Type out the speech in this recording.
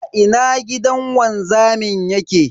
A ina gidan wanzamin yake?